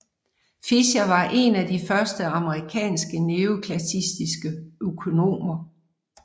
Fisher var en af de første amerikanske neoklassiske økonomer